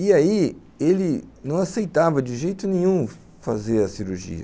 E aí ele não aceitava de jeito nenhum fazer a cirurgia.